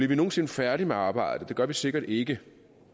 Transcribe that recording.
vi nogen sinde færdige med arbejdet det gør vi sikkert ikke